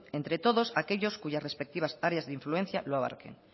de entre todos aquellos cuya respectivas áreas de influencia lo abarquen